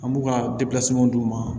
An b'u ka d'u ma